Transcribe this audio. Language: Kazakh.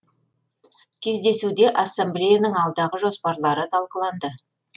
кездесуде ассамблеяның алдағы жоспарлары талқыланды